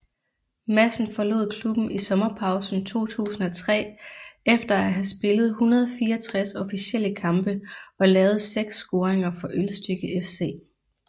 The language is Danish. Madsen forlod klubben i sommerpausen 2003 efter at have spillet 164 officielle kampe og lavet seks scoringer for Ølstykke FC